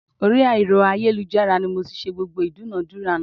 Orí ẹ̀rọ ayélujára ni mo ti ṣẹ́ gbogbo ìdúnadúrà náà